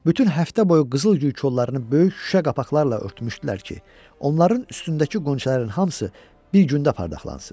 Bütün həftə boyu qızıl gül kollarını böyük şüşə qapaqlarla örtmüşdülər ki, onların üstündəki qönçələrin hamısı bir gündə parlaqlansın.